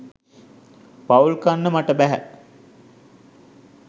පවුල් කන්න මට බැහැ.